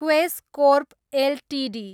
क्वेस कोर्प एलटिडी